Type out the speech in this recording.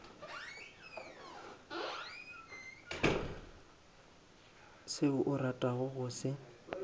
seo o ratago go se